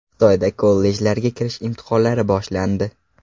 Xitoyda kollejlarga kirish imtihonlari boshlandi.